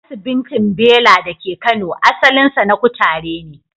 Asibintin Bela da ke Kano, asalinsa na kutare ne.